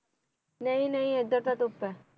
ਨਹੀਂ ਨਹੀਂ ਏਧਰ ਤਾਂ ਧੁੱਪ ਐ